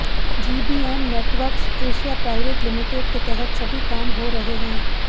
GBM networks Asia private limited के तहत सभी काम हो रहे हैं